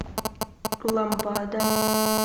ламбада